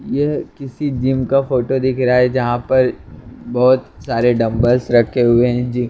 यह किसी जिम का फोटो दिख रहा है जहां पर बहुत सारे डंबल्स रखे हुए हैं जी।